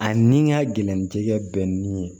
A ni n ka gɛlɛn tɛ kɛ nin ye